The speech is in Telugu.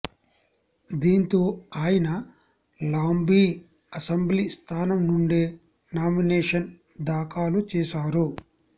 దీంతో ఆయన లాంబీ అసెంబ్లీ స్థానం నుండే నామినేషన్ దాఖలు చేశారు